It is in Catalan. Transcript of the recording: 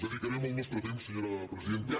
dedicarem el nostre temps senyora presidenta